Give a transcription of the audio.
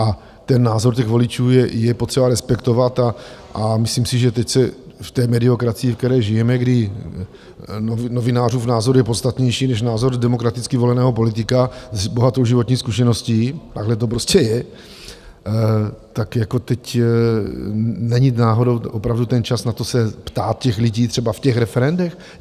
A ten názor těch voličů je potřeba respektovat a myslím si, že teď se v té mediokracii, ve které žijeme, kdy novinářův názor je podstatnější, než názor demokraticky voleného politika s bohatou životní zkušeností, takhle to prostě je, tak jako teď není náhodou opravdu ten čas na to se ptát těch lidí třeba v těch referendech?